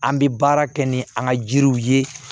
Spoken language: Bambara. An bɛ baara kɛ ni an ka jiriw ye